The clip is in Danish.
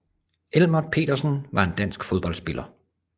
Elmert Petersen var en dansk fodboldspiller